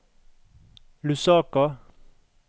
Lusaka